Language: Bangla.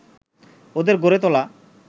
ওদের গড়ে তোলা